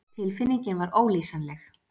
Tilfinningin var ólýsanleg.